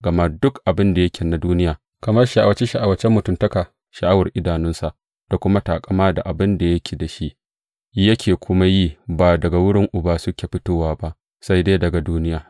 Gama duk abin da yake na duniya, kamar sha’awace sha’awacen mutuntaka, sha’awar idanunsa, da kuma taƙama da abin da yake da shi, yake kuma yi, ba daga wurin Uba suke fitowa ba sai dai daga duniya.